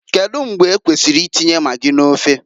Kedu mgbe ekwesiri i tinye magi n'ofe?